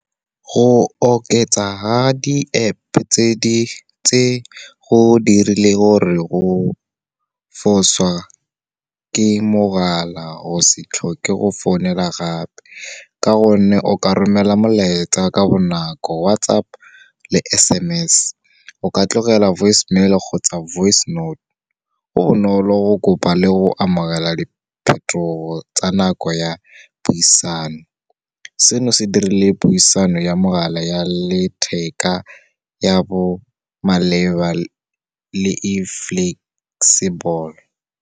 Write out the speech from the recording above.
Go oketsa ha di-App tse, go dirile gore go fosa ke mogala o se tlhoke go founela gape, ka gonne o ka romela molaetsa ka bonako WhatsApp le S_M_S, o ka tlogela voicemail-e kgotsa voice note. Go bonolo go kopa le go amogela diphetogo tsa nako ya puisano. Seno se dirile puisano ya mogala ya letheka ya bo maleba le e flexible.